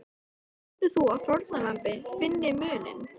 Heldur þú að fórnarlambið finni muninn?